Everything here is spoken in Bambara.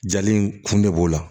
Jali in kun de b'o la